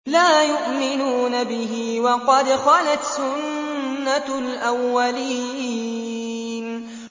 لَا يُؤْمِنُونَ بِهِ ۖ وَقَدْ خَلَتْ سُنَّةُ الْأَوَّلِينَ